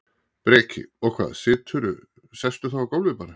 Breki: Og hvað, siturðu, sestu þá á gólfið bara?